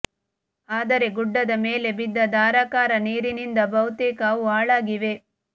ಆದರೆ ಗುಡ್ಡದ ಮೇಲೆ ಬಿದ್ದ ಧಾರಾಕಾರ ನೀರಿನಿಂದ ಬಹುತೇಕ ಅವು ಹಾಳಾಗಿವೆ